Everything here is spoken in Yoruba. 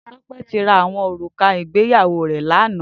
Tope ti rá áwòn órúká igbéyàwó re làná